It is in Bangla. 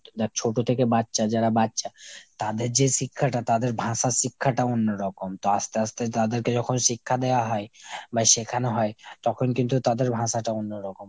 দ্যাখ ছোট থেকে বাচ্চা, যারা বাচ্চা তাদের যে শিক্ষাটা তাদের ভাষার শিক্ষাটা অন্যরকম। তো আস্তে আস্তে তাদেরকে যখন শিক্ষা দেওয়া হয় বা শেখানো হয়, তখন কিন্তু তাদের ভাষাটা অন্যরকম হয়।